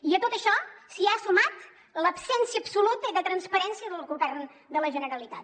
i a tot això s’hi ha sumat l’absència absoluta de transparència del govern de la generalitat